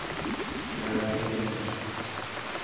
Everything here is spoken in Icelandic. Ég hafði ekki tekið eftir þessu.